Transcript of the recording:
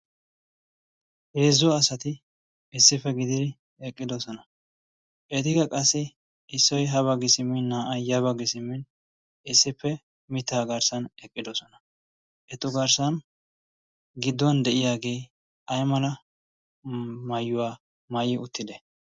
Heezzu asati issippe gididi eqqidosona. Etikka qassi issoy ha baggi simmin naa"ay ya baggi simmin mittaa garssan eqqidosona. Etu garssan gidduwan de'iyagee ay mala maayuwa maayi uttidee?